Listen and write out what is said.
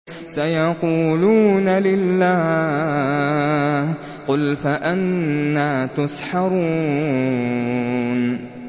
سَيَقُولُونَ لِلَّهِ ۚ قُلْ فَأَنَّىٰ تُسْحَرُونَ